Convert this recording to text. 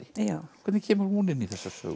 hvernig kemur hún inn í þessa sögu